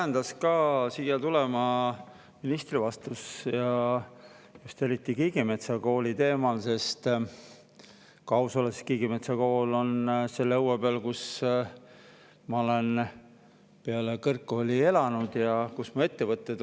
Mind ajendas siia pulti tulema ministri vastus ja just Kiigemetsa Kooli teemal, sest kui aus olla, siis Kiigemetsa Kool on selle õue peal, kus ma peale kõrgkooli olen elanud ja kus asuvad minu ettevõtted.